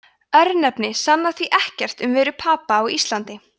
örnefni sanna því ekkert um veru papa á íslandi